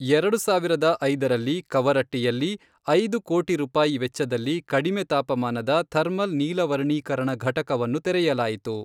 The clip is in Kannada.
ಎರಡು ಸಾವಿರದ ಐದರಲ್ಲಿ, ಕವರಟ್ಟಿಯಲ್ಲಿ, ಐದು ಕೋಟಿ ರೂಪಾಯಿ ವೆಚ್ಚದಲ್ಲಿ, ಕಡಿಮೆ ತಾಪಮಾನದ ಥರ್ಮಲ್ ನಿಲವರ್ಣೀಕರಣ ಘಟಕವನ್ನು ತೆರೆಯಲಾಯಿತು.